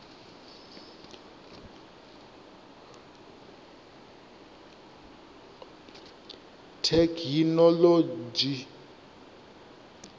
thekhinolodzhi